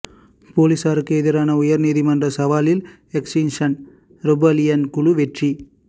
பொலிஸாருக்கு எதிரான உயர் நீதிமன்ற சவாலில் எக்ஸ்ரிங்க்ஷன் ரெபல்லியன் குழு வெற்றி